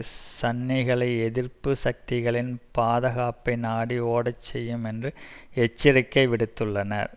சன்னிகளை எதிர்ப்பு சக்திகளின் பாதகாப்பை நாடி ஓடச் செய்யும் என்று எச்சரிக்கை விடுத்துள்ளனர்